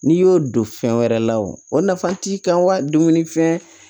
N'i y'o don fɛn wɛrɛ la o nafa t'i kan wa dumunifɛn